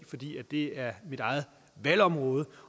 fordi det er mit eget valgområde